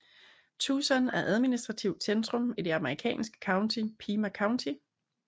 Tucson er administrativt centrum i det amerikanske county Pima County